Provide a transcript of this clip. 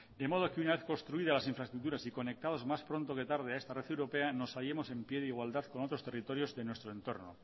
de modo que una vez construidas las infraestructuras y conectados más pronto que tarde a esta red europea nos hallemos en pie de igualdad con otros territorios de nuestro entorno